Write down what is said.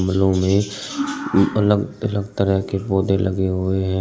लो में अलग अलग तरह के पौधे लगे हुए हैं।